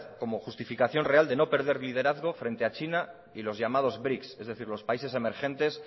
como justificación real de no perder liderazgo frente a china y los llamados brics es decir los países emergentes